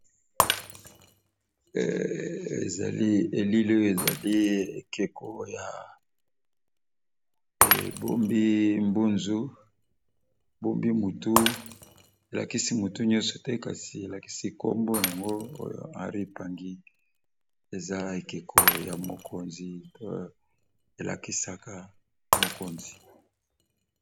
ezali elilo ezali ekeko ya ebombi mbunzu bombi motu elakisi motu nyonso te kasi elakisi nkombo yango oyo hanry pangi eza ekeko ya mokonzi to elakisaka mokonzi